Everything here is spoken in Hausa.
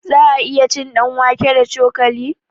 Za'a iya cin ɗanwake da cokali?